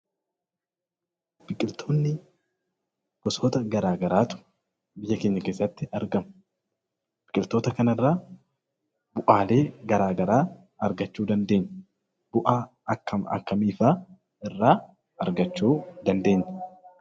Biqiltoonni gosoota garaa garaatu biyya keenya keessatti argama. Biqiltoota kanarraa bu'aalee garaa garaa argachuu dandeenya. Bu'aa akkam akkamiifaa irraa argachuu dandeenya?